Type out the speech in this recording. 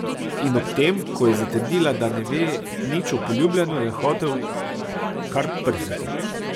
In ob tem, ko je zatrdila, da ne ve nič o poljubljanju, je hotel kar prhniti.